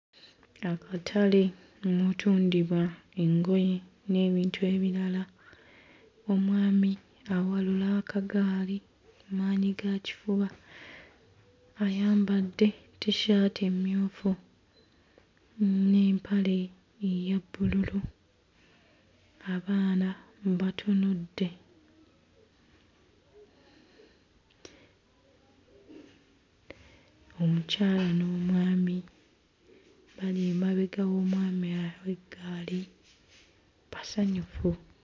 Akatale omutundibwa engoye n'ebintu ebirala omwami awalula akagaali maanyigakifuba, ayambadde t-shirt emmyufu n'empale eya bbululu, abaana mm batunudde omukyala n'omwami bali emabega w'omwami aa w'eggaali basanyufu.